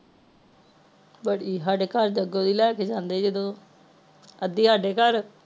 ਬੜੀ ਹਾਡੇ ਘਰ ਦੇ ਅਗੋ ਦੀ ਲੈਕੇ ਜਾਂਦੇ ਹੀ ਜਦੋ ਅਦੀ ਹਾਡੇ ਘਰ